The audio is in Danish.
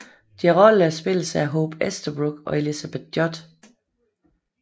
Deres roller spilles af Hope Easterbrook og Elizabeth Judd